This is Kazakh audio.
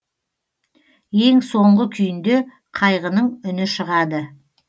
ең соңғы күйінде қайғының үні шығады